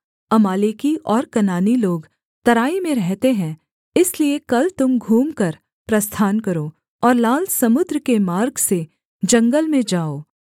अमालेकी और कनानी लोग तराई में रहते हैं इसलिए कल तुम घूमकर प्रस्थान करो और लाल समुद्र के मार्ग से जंगल में जाओ